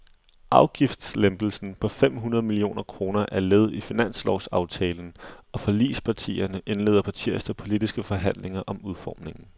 Afgiftslempelsen på fem hundrede millioner kroner er led i finanslovsaftalen, og forligspartierne indleder på tirsdag politiske forhandlinger om udformningen.